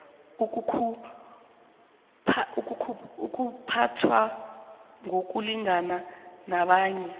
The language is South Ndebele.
uzakuphathwa ngokulingana nabanye